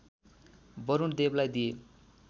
वरुण देवलाई दिए